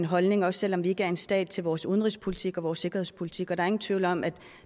en holdning også selv om vi ikke er en stat til vores udenrigspolitik og vores sikkerhedspolitik og der ingen tvivl om at